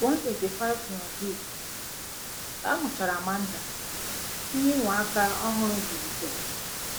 185 Yoonhee: Ka amuchara Amanda, ihe ịnwa aka ọhụrụ bilitere.